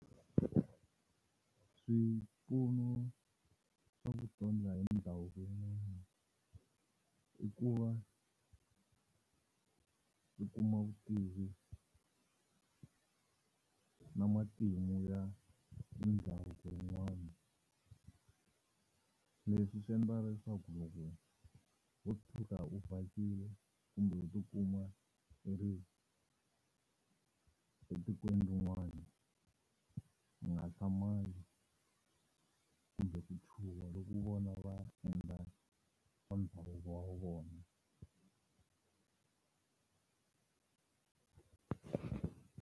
Swipfuno swa i ku va, u kuma vutivi na matimu ya ndhavuko wun'wana leswi swi endla leswaku loko wo tshika u vhakile kumbe u ti kuma i ri etikweni rin'wana u nga hlamali kumbe ku chuha loku vona va endla swa ndhavuko wa vona.